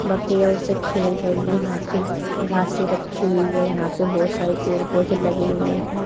बकेया उससे खेल रही है यहां पे घांसे रखी हुई है यहां पे बहोत सारे पेड़ पौधे लगे हुए हैं।